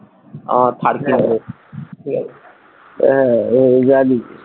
আমার থার আহ আমি জানি